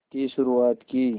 की शुरुआत की